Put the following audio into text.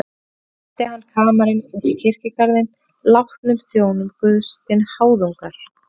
Og samt ræsti hann kamarinn út í kirkjugarðinn látnum þjónum Guðs til háðungar.